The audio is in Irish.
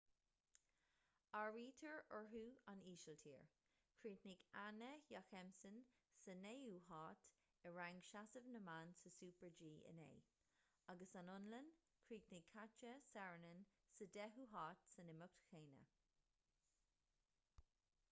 áirítear orthu an ísiltír - chríochnaigh anna jochemsen sa naoú háit i rang seasamh na mban sa super-g inné - agus an fhionlainn - chríochnaigh katja saarinen sa deichiú háit san imeacht chéanna